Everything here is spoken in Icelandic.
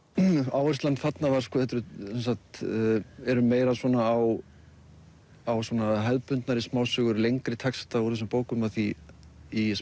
áherslan þarna var meira á á hefðbundnari smásögur lengri texta úr þessum bókum af því í